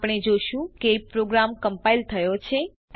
આપણે જોશું કે પ્રોગ્રામ કમ્પાઈલ થયો છે